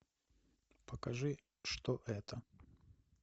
покажи что это